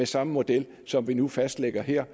samme model som vi nu fastlægger her